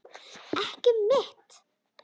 Ekki mitt.